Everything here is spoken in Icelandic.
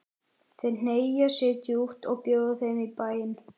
Þeir hneigja sig djúpt og bjóða þeim í bæinn.